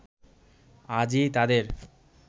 আজই তাদের